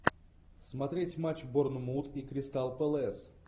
смотреть матч борнмут и кристал пэлас